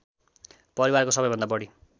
परिवारको सबैभन्दा बढी